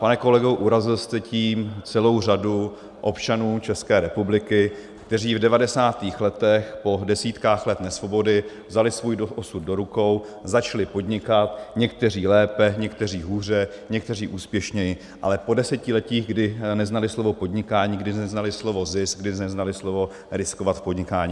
Pane kolego, urazil jste tím celou řadu občanů České republiky, kteří v 90. letech po desítkách let nesvobody vzali svůj osud do rukou, začali podnikat, někteří lépe, někteří hůře, někteří úspěšněji, ale po desetiletí, kdy neznali slovo podnikání, kdy neznali slovo zisk, kdy neznali slovo riskovat v podnikání.